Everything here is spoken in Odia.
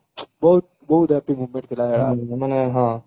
ବହୁତ ବହୁତ happy moment ଥିଲା